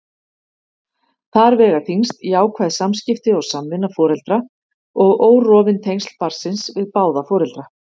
Þar vega þyngst jákvæð samskipti og samvinna foreldra og órofin tengsl barnsins við báða foreldra.